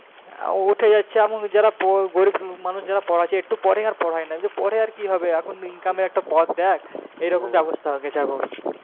হ্যাঁ উঠে যাচ্ছে এমনকি যারা গরীব মানুষ যারা পড়াচ্ছে একটু পড়ে আর পড়ায় না বলছে পড়ে আর কি হবে এখন income এর একটা পথ দেখ এইরকম ব্যবস্থা হয়ে গেছে এখন